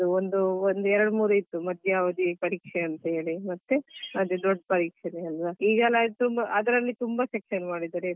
ಒಂದಾದ್ಮೇಲೆ ಒಂದು ಎರಡು ಮೂರು ಇತ್ತು ಮಧ್ಯಾವಧಿ ಪರೀಕ್ಷೆ ಅಂತ ಹೇಳಿ ಮತ್ತೆ ದೊಡ್ಡ ಪರೀಕ್ಷೆನೆ ಅಲ್ಲ ಈಗೆಲ್ಲ ಅದ್ರಲ್ಲಿ ತುಂಬಾ section ಮಾಡಿದ್ದಾರೆ.